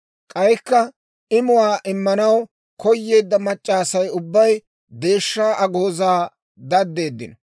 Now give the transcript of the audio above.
K'aykka imuwaa immanaw koyeedda mac'c'a Asay ubbay deeshshaa agoozaa daddeeddino.